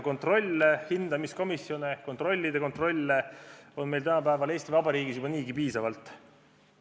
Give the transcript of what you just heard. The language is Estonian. Kontrolle, hindamiskomisjone ja kontrollide kontrolle on meil Eesti Vabariigis juba niigi piisavalt.